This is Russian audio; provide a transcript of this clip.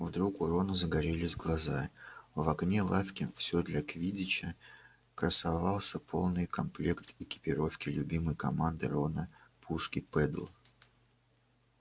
вдруг у рона загорелись глаза в окне лавки всё для квиддича красовался полный комплект экипировки любимой команды рона пушки педдл